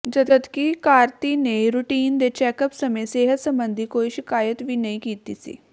ਜਦਕਿ ਕਾਰਤੀ ਨੇ ਰੂਟੀਨ ਦੇ ਚੈਕਅਪ ਸਮੇਂ ਸਿਹਤ ਸਬੰਧੀ ਕੋਈ ਸ਼ਿਕਾਇਤ ਵੀ ਨਹੀਂ ਕੀਤੀ ਸੀ